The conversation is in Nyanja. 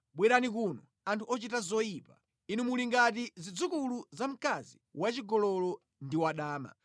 “Bwerani kuno, anthu ochita zoyipa, inu muli ngati zidzukulu za mkazi wachigololo ndi wadama!